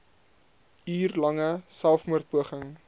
uur lange selfmoordpoging